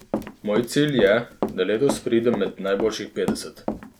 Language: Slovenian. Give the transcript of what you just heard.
Moj cilj je, da letos pridem med najboljših petdeset.